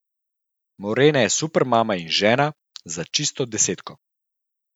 Morena je super mama in žena, za čisto desetko.